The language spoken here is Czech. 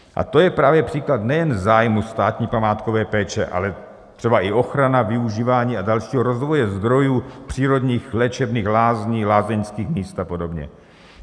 A to je právě příklad nejen zájmu státní památkové péče, ale třeba i ochrana, využívání a dalšího rozvoje zdrojů přírodních léčebných lázní, lázeňských míst a podobně.